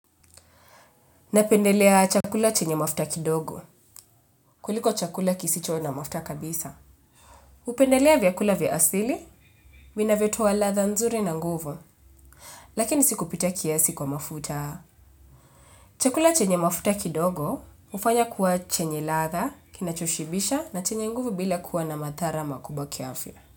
Napendelea chakula chenye mafuta kidogo, kuliko chakula kisicho na mafuta kabisa. Upendelea vyakula vya asili, vinavyotoa ladha nzuri na nguvu, lakini siku pita kiasi kwa mafuta. Chakula chenye mafuta kidogo, ufanya kuwa chenye latha, kinachoshibisha na chenye nguvu bila kuwa na mathara makubwa kiafya.